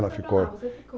Você ficou.